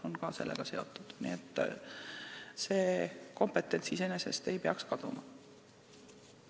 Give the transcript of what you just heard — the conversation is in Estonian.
Nii et see kompetents ei peaks kaduma.